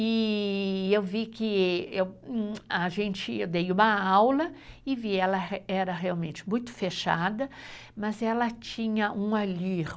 E eu vi que... A gente, eu dei uma aula e vi que ela era realmente muito fechada, mas ela tinha um allure.